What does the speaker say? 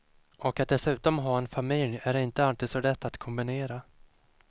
Och att dessutom ha en familj är inte alltid så lätt att kombinera.